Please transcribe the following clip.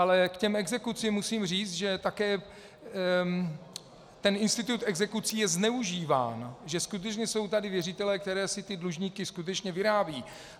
Ale k těm exekucím musím říct, že také ten institut exekucí je zneužíván, že skutečně jsou tady věřitelé, kteří si ty dlužníky skutečně vyrábějí.